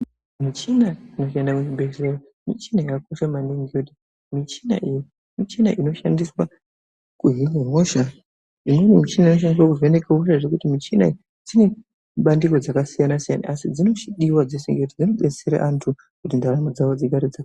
Michina inoshanda muzvibhedhleya michina yakakosha maningi. Ngokuti michina iyi michina inoshandiswa kuhine hosha. Imweni michina inoshandiswa kuvheneke hosha zvekuti michina idzi dzine mabandiko akasiyana-siyana asi dzinodiwa dzese ngekuti dzinodetsera antu kuti ndaramo dzavo dzigare dza...